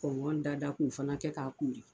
da da k'u fana kɛ k'a kori